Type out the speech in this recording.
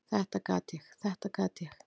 """Þetta gat ég, þetta gat ég!"""